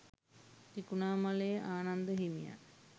තිරිකුණාමලයේ ආනන්ද හිමියන්